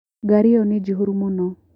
Ngari ĩyo nĩ njihũru mũno.